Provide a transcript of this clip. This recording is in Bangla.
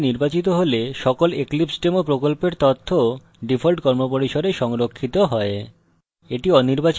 এই বিকল্পটি নির্বাচিত হলে সকল eclipsedemo প্রকল্পের তথ্য ডিফল্ট কর্মপরিসরে সংরক্ষিত হয়